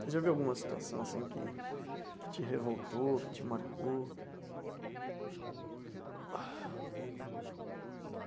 Você já viu alguma situação assim que que te revoltou, que te marcou?